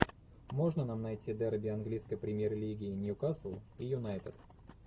можно нам найти дерби английской премьер лиги ньюкасл и юнайтед